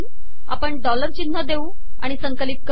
आपण डॉलर िचनह देऊ आिण संकिलत कर